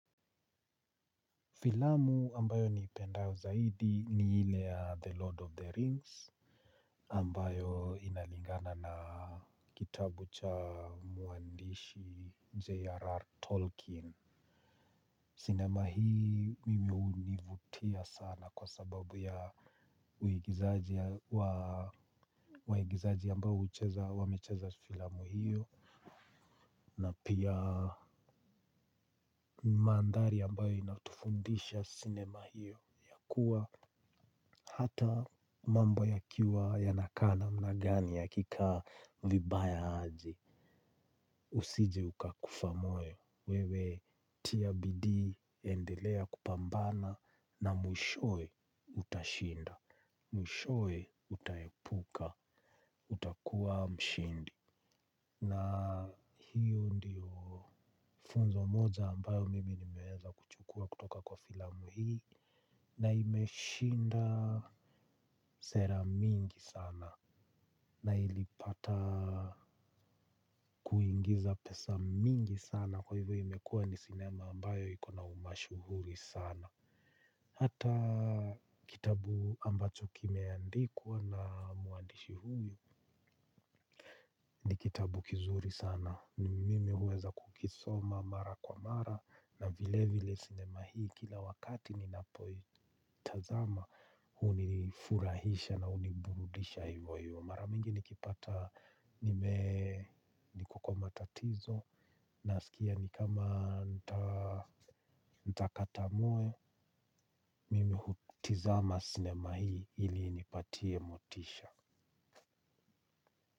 Filamu ambayo niipendayo zaidi ni ile ya The Lord of the Rings. Ambayo inalingana na kitabu cha mwandishi J.R.R. Tolkien. Sinema hii mimi hunivutia sana kwa sababu ya waigizaji ambayo hucheza wamecheza filamu hiyo, na pia maandhari ambayo inatufundisha sinema hiyo ya kuwa hata mambo yakiwa yanakaa namna gani yakikaa vibaya aje, usije ukakufa moyo, wewe tia bidii endelea kupambana na mwishowe utashinda. Mwishowe utaepuka utakuwa mshindi. Na hiyo ndiyo funzo moja ambayo mimi nimeweza kuchukua kutoka kwa filamu hii, na imeshinda sera mingi sana. Na ilipata kuingiza pesa mingi sana. Kwa hivyo imekuwa ni sinema ambayo iko na umashuhuri sana. Hata kitabu ambacho kimeandikwa na mwandishi huyu ni kitabu kizuri sana. Na mimi huweza kukisoma mara kwa mara na vile vile sinema hii kila wakati ninapoitazama hunifurahisha na huniburudisha hivo hivo. Mara mingi nikipata nime niko kwa matatizo, nasikia ni kama nitakata moyo. Mimi hutizama sinema hii ili inipatie motisha.